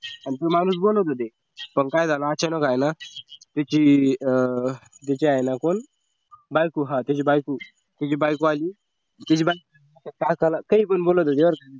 आमचे माणूस बोलत होते पण काय झालं अचानक हाय ना तिची तिची हाय ना कोण बायको हा त्याची बायको आली त्याची बायको त्याला काहीपण बोलत होती बर का